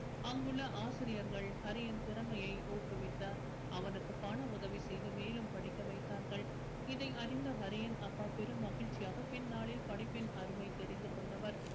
அங்குள்ள ஆசிரியர்கள் ஹரியின் திறமைய ஊக்குவித்தார் அவனுக்கு பண உதவி செய்து மேலும் படிக்க வைத்தார்கள் இதை அறிந்த ஹரியின் அப்பா பெரும் மகிழ்ச்சியாக பின்னாளில் படிப்பின் அருமை தெரிந்து கொண்டவர்